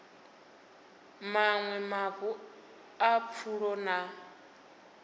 maṅwe mavu a pfulo na